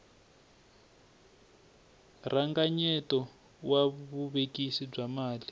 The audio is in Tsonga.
rhanganyeto wa vuvekisi bya mali